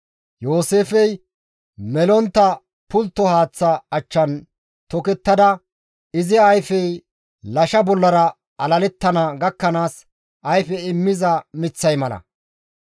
«Yooseefey melontta pultto haaththa achchan tokettada, izi ayfey lasha bollara alalettana gakkanaas ayfe immiza miththay mala.